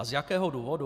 A z jakého důvodu?